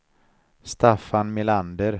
Staffan Melander